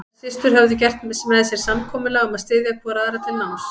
Þær systur höfðu gert með sér samkomulag um að styðja hvor aðra til náms.